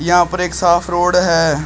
यहां पर एक साफ रोड है।